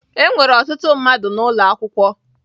Enwere ọtụtụ mmadụ n'ụlọ akwụkwọ